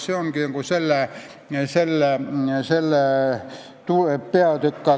See ongi see peatükk.